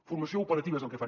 formació operativa és el que fan